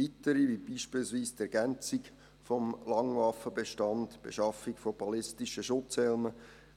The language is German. Weitere sind beispielsweise die Ergänzung des Langwaffenbestands, die Beschaffung von ballistischen Schutzhelmen,